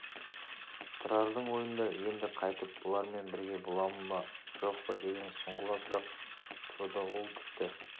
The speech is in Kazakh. тұрардың ойында енді қайтып бұлармен бірге боламын ба жоқ па деген сұңғыла сұрақ тұрды ол тіпті